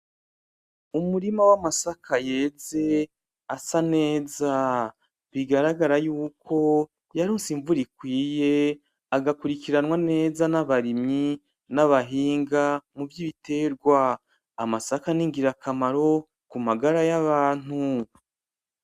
Umurima w'amasaka yeze asa neza bigaragara yuko yaronse imvura ikinye agakurikiranwa neza nabarimyi, n'abahinga muvy'ibiterwa, amasaka ningira kamaro kumagara yabantu.